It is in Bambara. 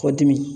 K'o dimi